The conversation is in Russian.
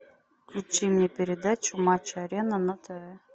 включи мне передачу матч арена на тв